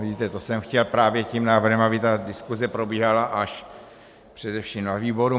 Vidíte, to jsem chtěl právě tím návrhem, aby ta diskuse probíhala až především na výboru.